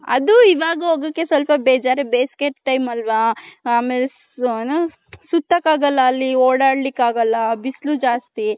ಅದು ಇವಗ್ ಹೋಗಕೆ ಸ್ವಲ್ಪ ಬೇಜಾರ್ ಬೇಸಿಗೆ time ಅಲ್ವ ಆಮೇಲೆ ಸುಥಕ್ ಆಗಲ್ಲಅಲ್ಲಿ ಓಡಾಡಿಕ್ ಆಗಲ್ಲ ಬಿಸ್ಲು ಜ್ಯಾಸ್ತಿ.